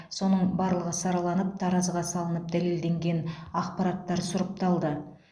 соның барлығы сараланып таразыға салынып дәлелденген ақпараттар сұрыпталды